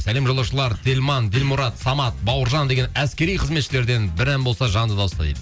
сәлем жолдаушылар телман ділмұрат самат бауыржан деген әскери қызметшілерден бір ән болса жанды дауыста дейді